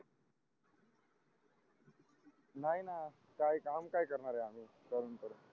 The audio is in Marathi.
नाही न काही काम काय करणार आहे आम्ही करून करून